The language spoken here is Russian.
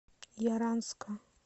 яранска